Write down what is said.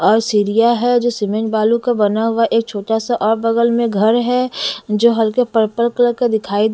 और सीरिया है जो सीमेंट बालू का बना हुआ एक छोटा सा और बगल में घर है जो हल्के पर्पल कलर का दिखाई --